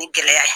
Ni gɛlɛya ye